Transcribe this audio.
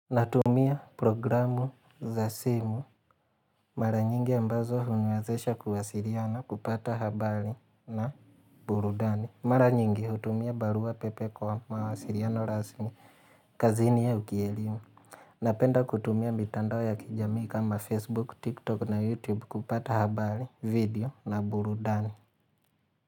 Natumia programu za simu mara nyingi ambazo huniwazesha kuwasiliana kupata habari na burudani. Mara nyingi hutumia baruapepe kwa mawasiliano rasmi kazini au kielimu. Napenda kutumia mitandao ya kijamii kama Facebook, TikTok na YouTube kupata habari video na burudani.